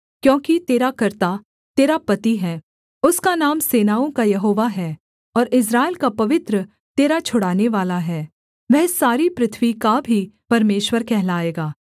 क्योंकि तेरा कर्ता तेरा पति है उसका नाम सेनाओं का यहोवा है और इस्राएल का पवित्र तेरा छुड़ानेवाला है वह सारी पृथ्वी का भी परमेश्वर कहलाएगा